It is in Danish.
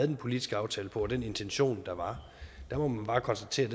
den politiske aftale på og den intention der var må man bare konstatere